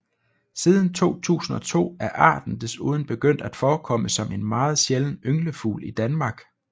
Siden 2002 er arten desuden begyndt at forekomme som en meget sjælden ynglefugl i Danmark